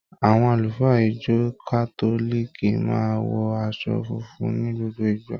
Àwọn àlùfáà ìjọ kátólìkì máa ń wọ aṣọ funfun ní gbogbo ìgbà.